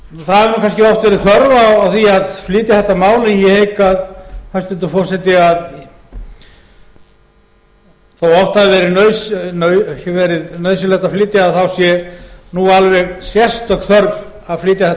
það hefur nú kannski oft verið þörf á því að flytja þetta mál ég hygg hæstvirtur forseti þó að oft hafi verið nauðsynlegt að flytja það þá sé nú alveg sérstök þörf að flytja þetta